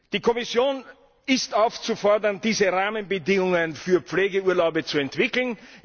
Die Kommission ist aufzufordern, diese Rahmenbedingungen für Pflegeurlaube zu entwickeln.